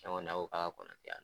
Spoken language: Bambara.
k'a ka kɔnɔ tɛ yan